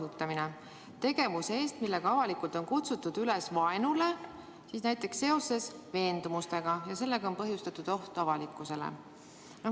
tegevuse eest, millega on avalikult kutsutud üles vaenule, näiteks seoses veendumustega, kui selle tegevusega on põhjustatud oht avalikule korrale.